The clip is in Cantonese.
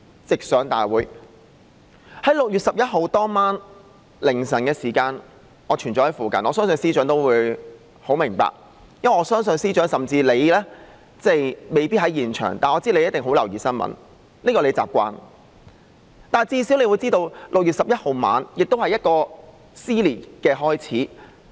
在6月11日凌晨時分，我一直在附近，相信司長也知道，因為我相信司長即使未必在現場，也一定十分留意新聞，這是他的習慣，所以他至少會知道6月11日晚上是撕裂的開始。